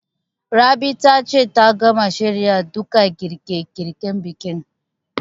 Rabi ta ce ta gama shirya duka girƙe girƙen bikin